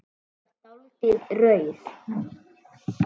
Þú er dáldið rauð.